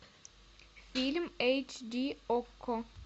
фильм эйч ди окко